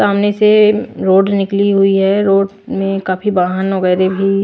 सामने से रोड निकली हुई है रोड में काफी वाहन वगैरह भी--